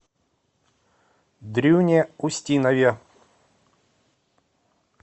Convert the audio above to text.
дрюне устинове